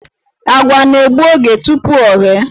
Àgwà na-egbu oge tupu o ghee.